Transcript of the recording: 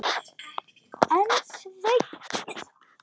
En Sveinn